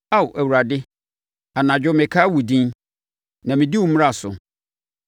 Ao Awurade, anadwo mekae wo din, na mɛdi wo mmara so.